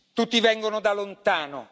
Tutti vengono da lontano.